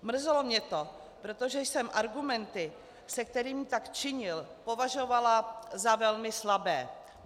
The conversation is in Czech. Mrzelo mě to, protože jsem argumenty, se kterými tak činil, považovala za velmi slabé.